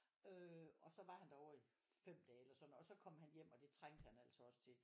Øh og så var han derover i 5 dage eller sådan noget og så kom han hjem og det trængte han altså også til